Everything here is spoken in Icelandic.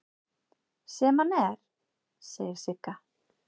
Sem hann er, segir Sigga.